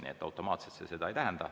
Nii et automaatselt see seda ei tähenda.